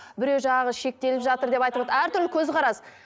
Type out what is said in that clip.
біреуі жаңағы шектеліп жатыр деп әртүрлі көзқарас